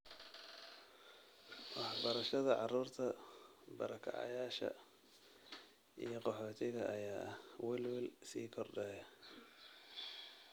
Waxbarashada carruurta barokacayaasha iyo qaxootiga ayaa ah welwel sii kordhaya.